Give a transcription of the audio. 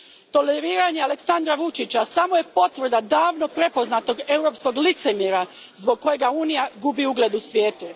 Toleriranje Aleksandra Vučića samo je potvrda davno prepoznatog europskog licemjerja zbog kojega Unija gubi ugled u svijetu.